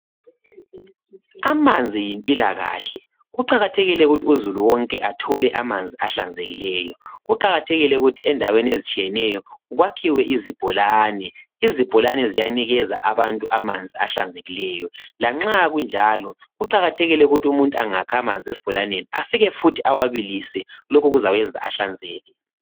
Amanzi yimpilakahle. Kuqakathekile ukuthi uzulu wonke athole amanzi ahlanzekileyo. Kuqakathekile ukuthi endaweni ezitshiyeneyo kwakhiwe izibholane. Izibholane ziyanikeza abantu amanzi ahlanzekileyo. Lanxa kunjalo, kuqakathekile ukuthi umuntu angakha amanzi esibholaneni afike futhi awabilise. Lokhu kuzawenza ahlanzeke.